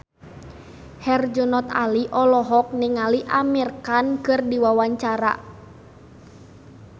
Herjunot Ali olohok ningali Amir Khan keur diwawancara